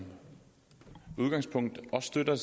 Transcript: udgangspunkt også støtter